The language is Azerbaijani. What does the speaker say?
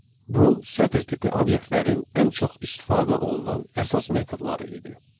Bu sətr tipi obyektlərin ən çox istifadə olunan əsas metodları idi.